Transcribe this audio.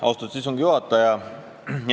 Austatud istungi juhataja!